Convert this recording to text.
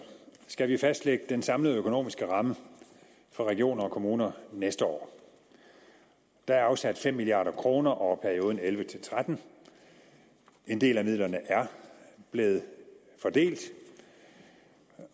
skal vi fastlægge den samlede økonomiske ramme for regioner og kommuner næste år der er afsat fem milliard kroner over perioden elleve til tretten en del af midlerne er blevet fordelt